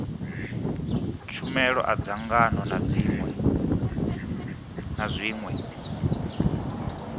tshumelo a dzangano na zwiṅwe